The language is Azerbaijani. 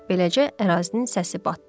Beləcə ərazinin səsi batdı.